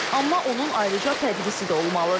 Amma onun ayrıca tədrisi də olmalıdır.